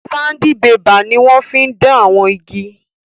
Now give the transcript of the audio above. Sandibébà ni wọ́n fí n dán àwọn igi